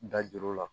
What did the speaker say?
Da juru la